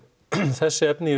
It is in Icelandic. þessi efni í